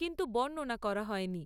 কিন্তু বর্ণনা করা হয়নি।